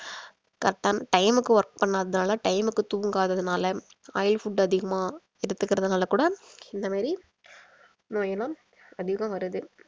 correct ஆன time க்கு work பண்ணாததுனால time க்கு தூங்காததுனால oil food அதிகமா எடுக்கிறதுனால கூட இந்த மாரி நோயெல்லாம் அதிகம் வருது